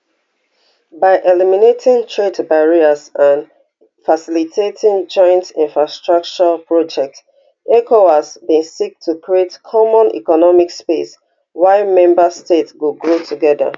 by eliminating trade barriers and facilitating joint infrastructure projects ecowas bin seek to create common economic space wia member states go grow together